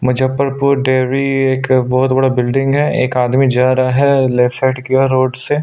Muzaffarpur dairy एक बहुत बड़ा बिल्डिंग है एक आदमी जा रहा है लेफ्ट साइड किया रोड से--